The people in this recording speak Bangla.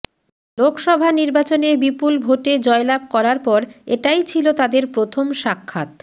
লোকসভা নির্বাচনে বিপুল ভোটে জয়লাভ করার পর এটাই ছিল তাঁদের প্রথম সাক্ষাত